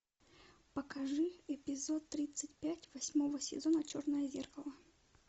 покажи эпизод тридцать пять восьмого сезона черное зеркало